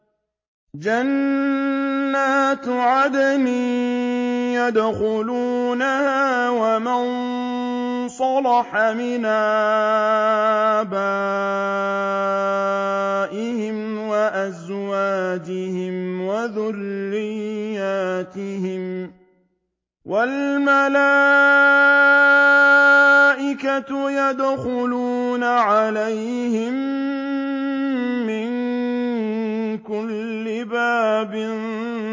جَنَّاتُ عَدْنٍ يَدْخُلُونَهَا وَمَن صَلَحَ مِنْ آبَائِهِمْ وَأَزْوَاجِهِمْ وَذُرِّيَّاتِهِمْ ۖ وَالْمَلَائِكَةُ يَدْخُلُونَ عَلَيْهِم مِّن كُلِّ بَابٍ